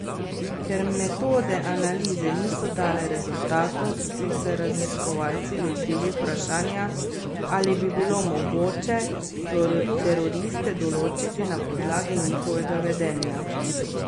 Ker metode analize niso dale rezultatov, so se raziskovalci lotili vprašanja, ali bi bilo mogoče teroriste določiti na podlagi njihovega vedenja.